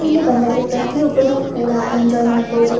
ಇಲ್ಲಿ ಬಂದರೆ ಪ್ರತಿಯೊಬ್ಬರು ಕೂಡ ಎಂಜೋಯ್ ಮಾಡಬಹುದು.